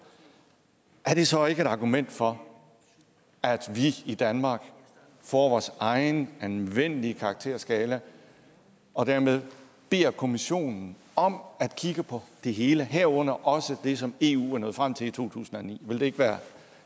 har det så ikke et argument for at vi i danmark får vores egen anvendelige karakterskala og dermed beder kommissionen om at kigge på det hele herunder også det som eu var nået frem til i 2009 ville det ikke være